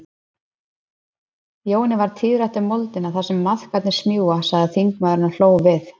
Jóni varð tíðrætt um moldina þar sem maðkarnir smjúga, sagði þingmaðurinn og hló við.